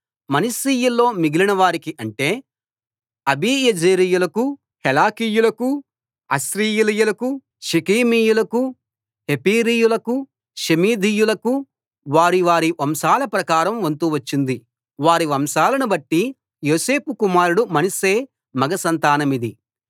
మనష్షీయుల్లో మిగిలిన వారికి అంటే అబీయెజెరీయులకూ హెలకీయులకూ అశ్రీయేలీయులకూ షెకెమీయులకూ హెపెరీయులకూ షెమీదీయులకూ వారి వారి వంశాల ప్రకారం వంతు వచ్చింది వారి వంశాలను బట్టి యోసేపు కుమారుడు మనష్షే మగ సంతానమది